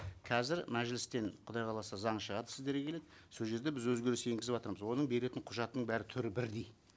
қазір мәжілістен құдай қаласа заң шығады сіздерге келеді сол жерде біз өзгеріс енгізіватырмыз оның беретін құжатының бәрі түрі бірдей